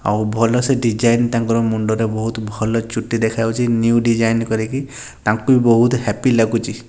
ଆଉ ଭଲସେ ଡିଯାଇନ୍ ତାଙ୍କର ମୁଣ୍ଡରେ ବହୁତ୍ ଭଲ ଚୁଟି ଦେଖାଯାଉଚି। ନିଉ ଡିଯାଇନ୍ କରିକି ତାଙ୍କୁ ବି ବୋହୁତ୍ ହାପି ଲାଗୁଚି।